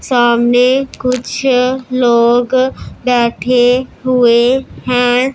सामने कुछ लोग बैठे हुए हैं।